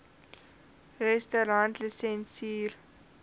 restaurantlisensier